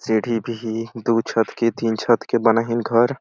सीढ़ी भी दु छत के तीन छत के बना है घर --